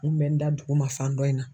N kun bɛ n da duguma fan dɔ in na.